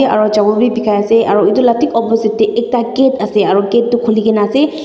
aro chawal bi bikai ase aro edu la thik opposite tae ekta gate ase aro gate tu khulikae na ase.